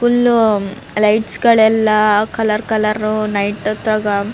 full lights ಗಳೆಲ್ಲ colour colour night ಹತ್ರಾಗ --